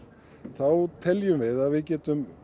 þá teljum við að við getum